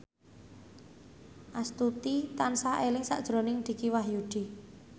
Astuti tansah eling sakjroning Dicky Wahyudi